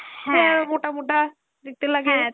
ইয়া মোটা মোটা দেখতে লাগে।